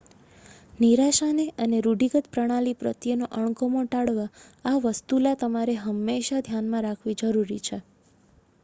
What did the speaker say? નિરાશાને અને રૂઢિગત પ્રણાલી પ્રત્યેનો અણગમો ટાળવા આ વસ્તુલા તમારે હંમેશા ધ્યાનમાં રાખવી જરૂરી છે